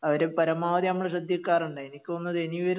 അവര് പരമാവധി നമ്മളെ ശ്രദ്ധിക്കാറുണ്ട് എനിക്ക് തോന്നുന്നു ഇനി വരുന്ന